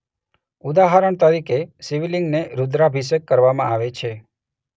ઉદાહરણ તરીકે શિવલિંગને રુદ્રાભિષેક કરવામાં આવે છે.